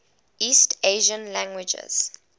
east asian languages